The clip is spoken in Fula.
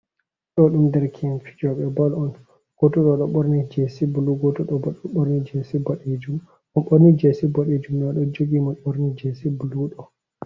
Haaɗo ɗum derke`en fijooɓe bol on, gooto to ɗo ɓorni jeesi bulu, gooto ɗo bo ɗo ɓorni jeesi boɗeejum, mo ɓorni jeesi boɗeejum ɗo, ɗon jogi mo ɓorni jeesi bulu ɗo.